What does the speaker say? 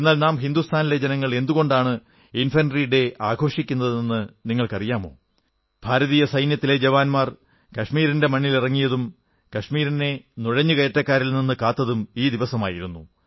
എന്നാൽ നാം ഹിന്ദുസ്ഥാനിലെ ജനങ്ങൾ എന്തുകൊണ്ടാണ് ഇൻഫെൻട്രി ഡേ ആഘോഷിക്കുന്നതെന്ന് നിങ്ങൾക്കറിയാമോ ഭാരതീയ സൈന്യത്തിലെ ജവാന്മാർ കശ്മീരിന്റെ മണ്ണിലിറങ്ങിയതും കശ്മീരിനെ നുഴഞ്ഞു കയറ്റക്കാരിൽ നിന്ന് കാത്തതും ഈ ദിവസമായിരുന്നു